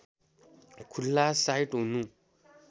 खुला साइट हुनु